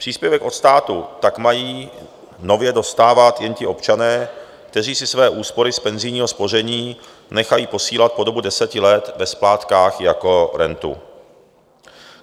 Příspěvek od státu tak mají nově dostávat jen ti občané, kteří si své úspory z penzijního spoření nechají posílat po dobu deseti let ve splátkách jako rentu.